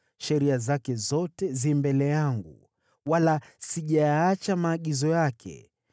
Sheria zake zote zi mbele yangu, wala sijayaacha maagizo yake.